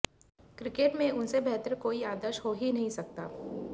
cricket में उनसे बेहतर कोई आदर्श हो ही नहीं सकता